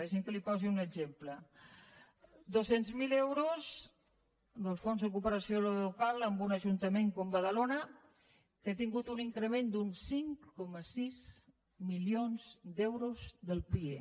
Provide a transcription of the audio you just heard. deixi’m que li posi un exemple dos cents miler euros del fons de cooperació local a un ajuntament com badalona que ha tingut un increment d’uns cinc coma sis milions d’euros del pie